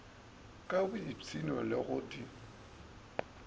ka boipshino le go di